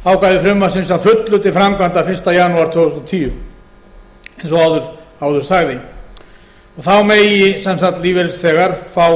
ákvæði frumvarpsins að fullu til framkvæmda fyrsta janúar tvö þúsund og tíu eins og áður sagði þá megi sem sagt lífeyrisþegar fá